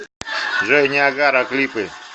джой ниагара клипы